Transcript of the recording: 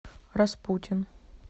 распутин